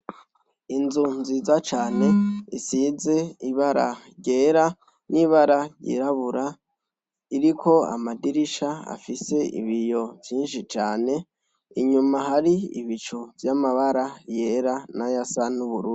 Inzu nziza cane isize ibara ryera n'ibara ryirabura iriko amadirisha afise ibiyo vyishi cane inyuma hari ibicu vy'amabara yera nayasa n'ubururu.